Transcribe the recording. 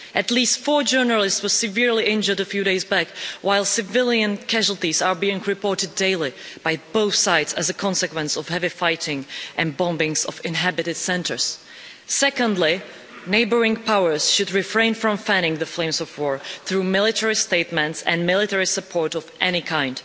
At least four journalists were severely injured a few days back, while civilian casualties are being reported daily by both sides as a consequence of heavy fighting and bombings of inhabited centres. Secondly, neighbouring powers should refrain from fanning the flames of war through military statements and military support of any kind.